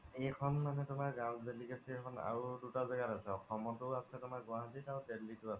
এইখন মানে তুমাৰ house delicacy খন আৰু দুতা জাগা আছে অসমত ও আছে তুমাৰ গুৱাহাতিত আৰু দেল্লিত ও আছে